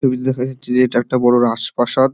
TV. তে দেখা যাচ্ছে যে এটা একটা বড়ো রাজপ্রাসাদ |